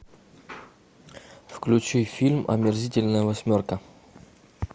включи фильм омерзительная восьмерка